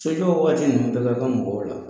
Sojɔ wagati ninnu bɛɛ ka kan mɔgɔw la